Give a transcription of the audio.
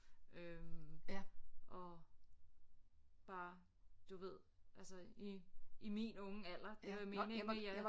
Øh og bare du ved altså i i min unge alder det vil jeg mene jeg er